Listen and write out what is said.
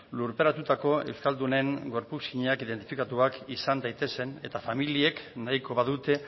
lurperatutako euskaldunen gorputzak identifikatuak izan daitezen eta familiek nahiko badute